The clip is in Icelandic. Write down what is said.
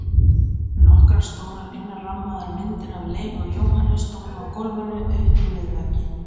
Nokkrar stórar innrammaðar myndir af Leifi og Jóhanni stóðu á gólfinu uppi við vegginn.